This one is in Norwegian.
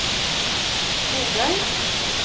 Bogøy